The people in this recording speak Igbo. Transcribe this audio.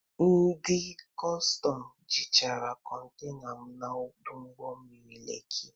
Ndị ọrụ kọstọm jịchịrị kọntena m na ọdụ ụgbọ mmiri Lekị.